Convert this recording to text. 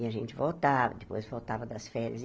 E a gente voltava, depois voltava das férias e.